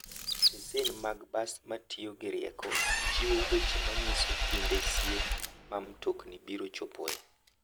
Stesen mag bas matiyo gi rieko, chiwo weche ma nyiso kinde sie ma mtokni biro chopoe.